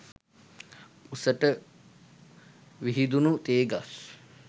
උසට විහිදුණු තේ ගස්